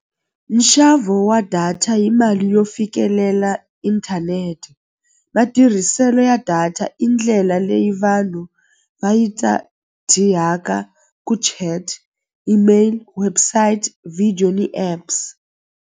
Nxavo wa data hi mali yo fikelela inthanete matirhiselo ya data i ndlela leyi vanhu va yi ku email website video ni apps.